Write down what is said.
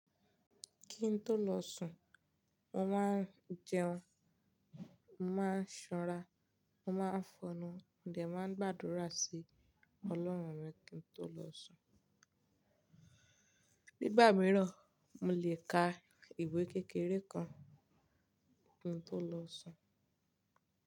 Kí n tó lọ sùn, mo máa ń jẹun, máa ń ṣanra, máa ń fọnnu, mo dẹ̀ máa ń gbàdúrà sí ọlọ́run mi kí n tó lọ sùn. Nígbà mìíràn, mo lè ka ìwé kékeré kan kí n tó lọ sùn.